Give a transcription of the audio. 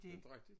Inte rigtig